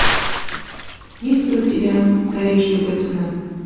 есть ли у тебя париж любой ценой